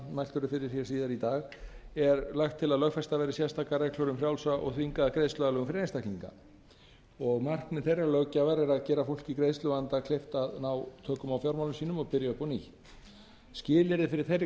mælt verður fyrir hér síðar í dag er lagt til að lögfestar verði sérstakar reglur um frjálsa og þvingaða greiðsluaðlögun fyrir einstaklinga markmið þeirrar löggjafar er að gera fólki í greiðsluvanda kleift að ná tökum á fjármálum sínum og byrja upp á nýtt skilyrði fyrir þeirri